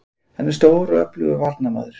Hann er stór og öflugur varnarmaður